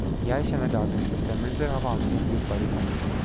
Jeg kjenner dagens bestemmelser og har vanligvis en brukbar hukommelse.